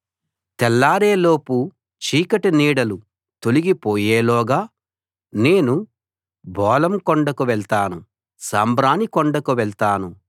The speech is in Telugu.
తెల్లారే లోపు చీకటి నీడలు తొలిగి పోయేలోగా నేను బోళం కొండకు వెళ్తాను సాంబ్రాణి కొండకు వెళ్తాను